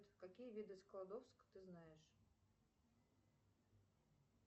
какие виды складовск ты знаешь